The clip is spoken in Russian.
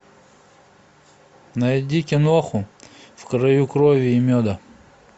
найди киноху в краю крови и меда